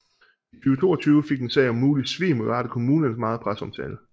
I 2022 fik en sag om mulig svig mod Varde kommune meget presseomtale